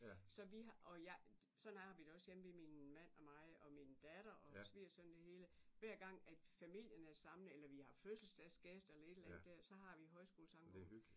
Så vi har og jeg sådan har vi det også hjemme ved min mand og mig og min datter og svigersøn og det hele hver gang familien er samlet eller vi har fødselsdagsgæster eller et eller andet der så har vi højskolesangbogen